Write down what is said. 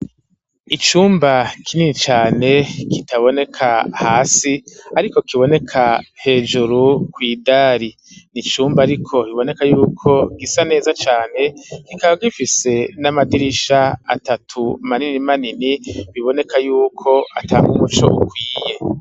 Icumba kinini cane kitaboneka hasi ariko kiboneka hejuru kw'idari n'icumba ariko biboneka yuko gisa neza cane kikaba gifise n'amadirisha atatu manini manini biboneka y'uko atanga umuco ukwiye.